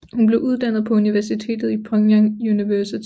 Hun blev uddannet på universitetet i Pyongyang University